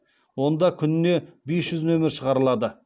онда күніне бес жүз нөмір шығарылады